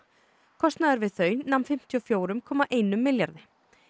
kostnaður við þau nam fimmtíu og fjögur komma eitt milljarði